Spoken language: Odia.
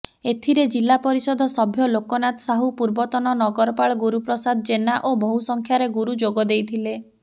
ଏଥିରେ ଜିଲାପରିଷଦ ସଭ୍ୟ ଲୋକନାଥ ସାହୁ ପୂର୍ବତନ ନଗରପାଳ ଗୁରୁପ୍ରସାଦ ଜେନା ଓ ବହୁ ସଂଖ୍ୟାରେ ଗୁରୁ ଯୋଗଦେଇଥିଲେ